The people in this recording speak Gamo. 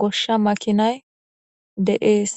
goshsha makinay deees